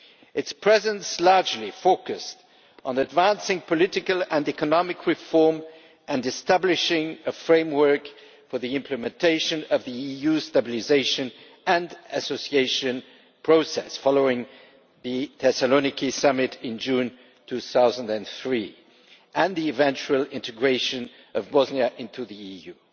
Its presence largely focused on advancing political and economic reform and establishing a framework for the implementation of the EU's Stabilisation and Association Process, following the Thessaloniki summit in June 2003 and the eventual integration of Bosnia into the EU.